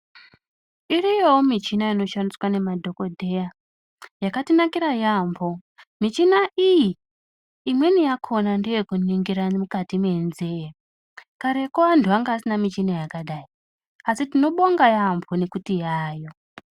Iriyowo michina ino shandiswa ne madhokodheya yakati nakira yambo michina iyi imweni yakona ndeye kuningira mukati me nzee kareko antu anga asina muchina yakadai asi tino bonga yambo nekuti yayo.